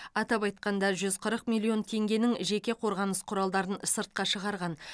атап айтқанда жүз қырық миллион теңгенің жеке қорғаныс құралдарын сыртқа шығарған